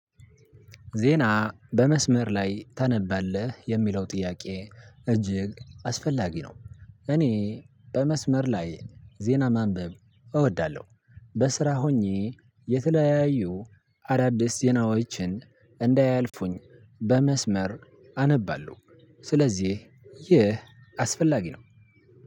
ዜና በመስመር ላይ ታነባለህ የሚለው ጥያቄ? እጅግ አስፈላጊ ነው። እኔ በመስመር ላይ ዜና ማንበብ እወዳለሁ። በስራ ሆኜ የተለያዩ አዳዲስ ዜናዎችን እንዳያልፉኝ በመስመር አነባለሁ። ስለዚህ ይህ አስፈላጊ ነው።